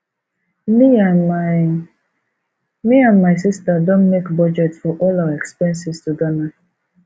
me and my me and my sister don make budget for all our expenses to ghana